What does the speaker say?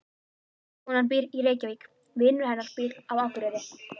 Konan býr í Reykjavík. Vinur hennar býr á Akureyri.